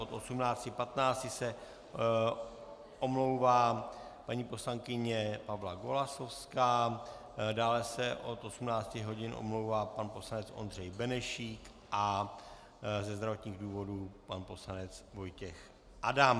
Od 18.15 se omlouvá paní poslankyně Pavla Golasowská, dále se od 18 hodin omlouvá pan poslanec Ondřej Benešík a ze zdravotních důvodů pan poslanec Vojtěch Adam.